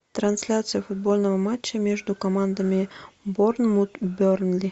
трансляция футбольного матча между командами борнмут бернли